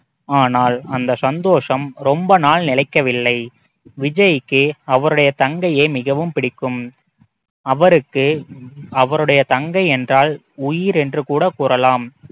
ஆனால் அந்த சந்தோஷம் ரொம்ப நாள் நிலைக்கவில்லை விஜய்க்கு அவருடைய தங்கையை மிகவும் பிடிக்கும் அவருக்கு அவருடைய தங்கை என்றால் உயிர் என்று கூட கூறலாம்